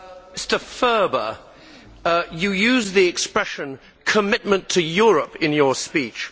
Mr Ferber, you used the expression commitment to Europe' in your speech.